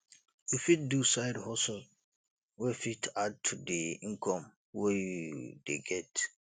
you fit do side hustle wey fit add to di income wey you dey get